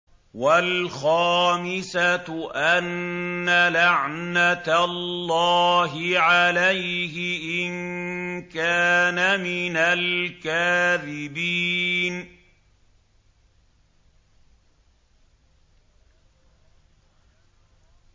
وَالْخَامِسَةُ أَنَّ لَعْنَتَ اللَّهِ عَلَيْهِ إِن كَانَ مِنَ الْكَاذِبِينَ